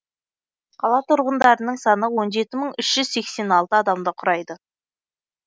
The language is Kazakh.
қала тұрғындарының саны он жеті мың үш жүз сексен алты адамды құрайды